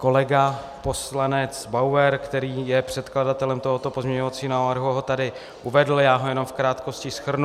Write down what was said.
Kolega poslanec Bauer, který je předkladatelem tohoto pozměňovacího návrhu, ho tady uvedl, já ho jenom v krátkosti shrnu.